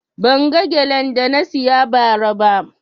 Ban ga gelen da na siya ba ra ba